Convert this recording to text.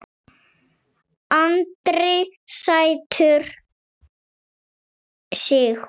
Andri: Sætur sigur?